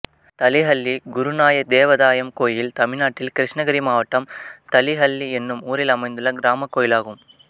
தளிஹள்ளி குருநாய தேவதாயம் கோயில் தமிழ்நாட்டில் கிருஷ்ணகிரி மாவட்டம் தளிஹள்ளி என்னும் ஊரில் அமைந்துள்ள கிராமக் கோயிலாகும்